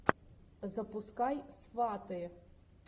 запускай сваты